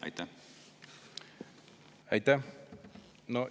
Aitäh!